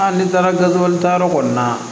n'i taara gaziwali ta yɔrɔ kɔni na